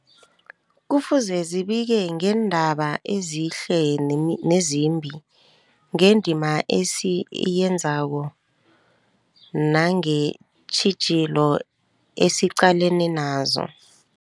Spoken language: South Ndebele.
Kufuze zibike ngeendaba ezihle nemi nezimbi, ngendima esiyenzako nangeentjhijilo esiqalene nazo.